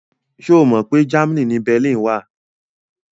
Ṣo Mọ pé Germany ni Berlin wà?